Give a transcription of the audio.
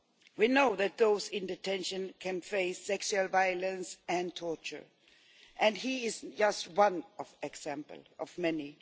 We know that those in detention can face sexual violence and torture, and he is just one example of many.